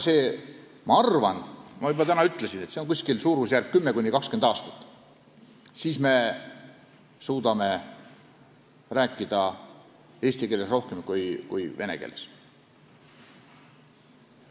Ma arvan, nagu ma juba ütlesin, et see suurusjärk on 10–20 aastat, siis me suudame rääkida rohkem eesti keeles kui vene keeles.